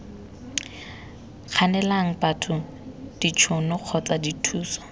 kganelang batho ditšhono kgotsa dithuso